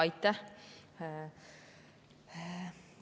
Aitäh!